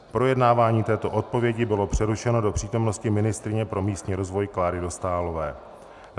Projednávání této odpovědi bylo přerušeno do přítomnosti ministryně pro místní rozvoj Kláry Dostálové.